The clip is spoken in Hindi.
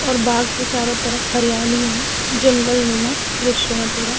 और बाग के चारों तरफ हरियाली है जंगल नुमा दृश्य है पूरा।